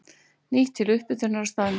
Nýtt til upphitunar á staðnum.